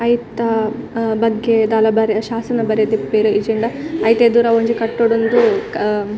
ಐತ ಅಹ್ ಬಗ್ಗೆ ದಾಲ ಬರೆದ್ ಶಾಸನ ಬರೆದಿಪ್ಪೆರ್ ಇಜ್ಜಿಂಡ ಐತೆದುರು ಅವೆನ್ ಕಟ್ಟೊಡುಂದ್ ಅಹ್ --